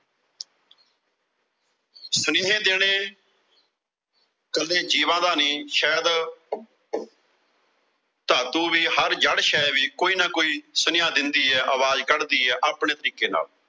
ਸੁਨੇਹੇ ਦੇਣੇ ਕੱਲੇ ਜੀਵਾਂ ਦਾ ਨੀਂ ਸ਼ਾਇਦ ਧਾਤੂ ਵੀ, ਹਰ ਜੜ ਸ਼ੈਅ ਵੀ ਕੋਈ ਨਾ ਕੋਈ ਸੁਨੇਹਾ ਦਿੰਦੀ ਆ, ਆਵਾਜ਼ ਕੱਢਦੀ ਆ, ਆਪਣੇ ਤਰੀਕੇ ਨਾਲ।